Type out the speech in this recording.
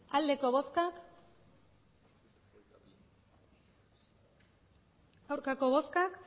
emandako botoak hirurogeita